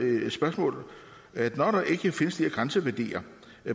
et spørgsmål når der ikke findes de her grænseværdier